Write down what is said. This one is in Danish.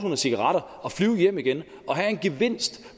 cigaretter og flyve hjem igen og have en gevinst